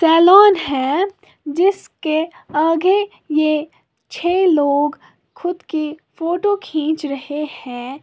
Salon है जिसके आगे ये छे लोग खुद की फोटो खींच रहे हैं।